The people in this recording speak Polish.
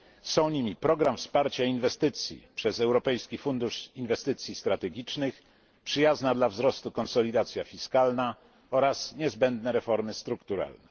Są nimi program wsparcia inwestycji przez Europejski Fundusz Inwestycji Strategicznych, przyjazna dla wzrostu konsolidacja fiskalna oraz niezbędne reformy strukturalne.